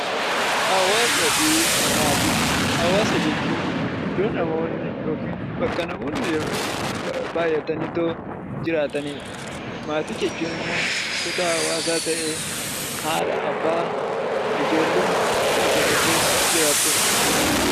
Hawaasa fi maatii Hawaasa jechuun iddoo namoonni yookiin maatiin bakka namoonni baayyatanii jiraatanidha. Maatii jechuun immoo kutaa hawaasaa ta'ee haadha, abbaa fi ijoolleen mana tokko keessa jiraatudha.